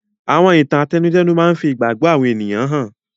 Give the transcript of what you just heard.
Àwọn ìtàn àtẹnudẹ́nu máa ń fi ìgbàgbọ́ àwọn ènìyàn hàn.